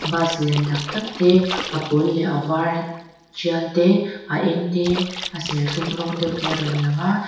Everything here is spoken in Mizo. bus lian tak tak te a pawl leh a vara tial te a eng te a serthlum rawng deuh a rawn lang a.